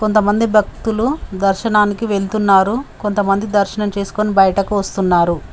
కొంతమంది భక్తులు దర్శనానికి వెళ్తున్నారు కొంతమంది దర్శనం చేసుకుని బయటకు వస్తున్నారు.